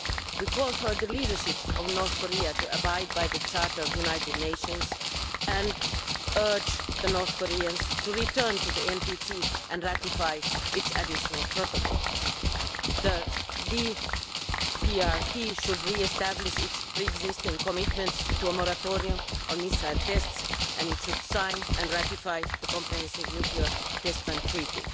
We call for the leadership of North Korea to abide by the Charter of the United Nations and urge the North Koreans to return to the NPT and ratify its additional protocol. The DPRK should re establish its pre existing commitments to a moratorium on missile tests and it should sign and ratify the comprehensive nuclear test ban treaty.